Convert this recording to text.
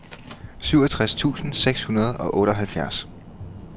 syvogtres tusind seks hundrede og otteoghalvfjerds